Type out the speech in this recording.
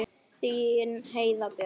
Þín Heiða Björg.